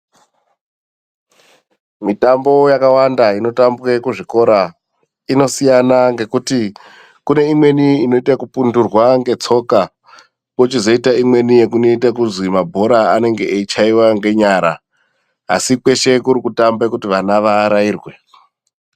Mitambo yakawanda inotambwe kuzvikora inosiyana, ngekuti kune imweni inoita yekupundurwa ngetsoka kochizoita imweni inoite yekuzi mabhora anenge eichaiwe ngenyara, asi kweshe kuri kutambe kuti vana vaarairwe.